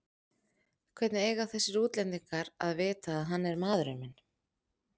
Hvernig eiga þessir útlendingar að vita að hann er maðurinn minn?